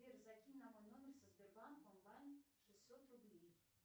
сбер закинь на мой номер со сбербанк онлайн шестьсот рублей